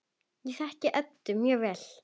Ég þekki Eddu mjög vel.